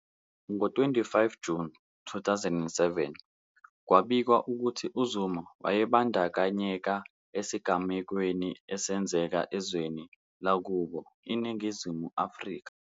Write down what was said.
Ngo-25 Juni 2007, kwabikwa ukuthi uZuma wayebandakanyeka esigamekweni esenzeka ezweni lakubo iNingizimu Afrika.